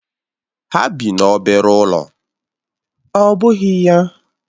Ha bị n'obere ụlọ ọ́ bụghị ya?